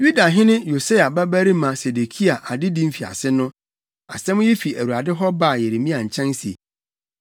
Yudahene Yosia babarima Sedekia adedi mfiase no, asɛm yi fi Awurade hɔ baa Yeremia nkyɛn se,